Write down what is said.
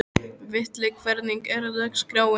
Villi, hvernig er dagskráin?